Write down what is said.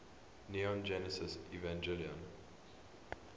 neon genesis evangelion